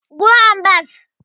Go and bath